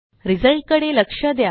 result कडे लक्ष द्या